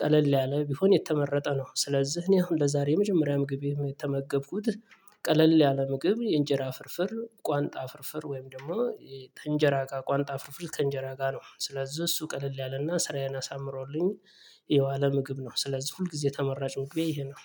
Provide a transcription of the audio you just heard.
ቀለል ያለ ቢሆን የተመረጠ ነው። ስለዚህ እኔ አሁን ለዛሬ የመጀመሪያ ምግቤ የተመገብኩት ቀለል ያለ ምግብ የእንጀራ ፍርፍር ቋንጣ ፍርፍር ወይም ደግሞ ከእንጀራ ጋር ቋንጣ ፍርፍር ከእንጀራ ጋር ነው። ስለዚህ እሱ ቀለል ያለና ስራዬን አሳምሮልኝ የዋለ ምግብ ነው። ስለዚህ ሁል ጊዜ ተመራጭ ምግቤ ይሄ ነው።